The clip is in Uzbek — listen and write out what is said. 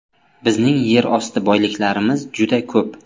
Bizning yer osti boyliklarimiz juda ko‘p.